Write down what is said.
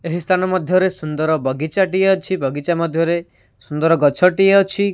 ଏହି ସ୍ଥାନ ମଧ୍ଯରେ ସୁନ୍ଦର ବଗିଚା ଟି ଅଛି ବଗିଚା ମଧ୍ୟରେ ସୁନ୍ଦର ଗଛ ଟି ଅଛି।